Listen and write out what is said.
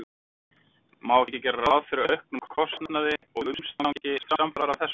Má ekki gera ráð fyrir auknum kostnaði og umstangi samfara þessu?